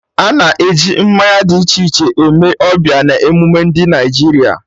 Ana e ji mmanya dị iche iche eme ọbịa na emume ndị Naịjirịa